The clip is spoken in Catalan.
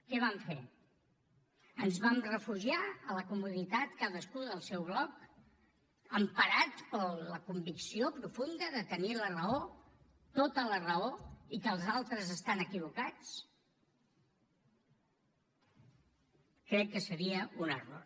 què vam fer ens vam refugiar a la comoditat cadascú del seu bloc emparat per la convicció profunda de tenir la raó tota la raó i que els altres estan equivocats crec que seria un error